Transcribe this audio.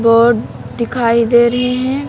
Board दिखाई दे रहे हैं।